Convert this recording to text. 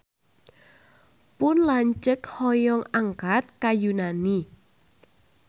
Pun lanceuk hoyong angkat ka Yunani